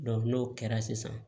n'o kɛra sisan